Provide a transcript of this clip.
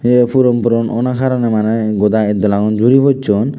ye puron puron owna karoney maneh goda itdola gun juri pojjon.